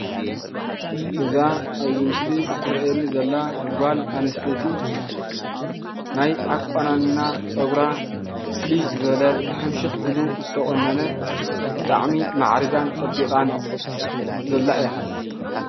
እዛ ኣብዚ ምስሊ እትረአየኒ ዘላ ጓል ኣንስተይቲ ናይ ኣቋናንና ፀጉራ ፍልይ ዝበለ ሕምሽኽ ኢሉ ዝተቆነነ ብጣዕሚ ማዕሪጋን ፀቢቓን ዘላ እያ፡፡